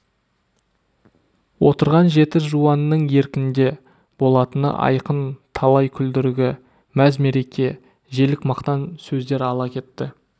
отырған жеті жуанның еркінде болатыны айқын талай күлдіргі мәз-мереке желік мақтан сөздер ала кетті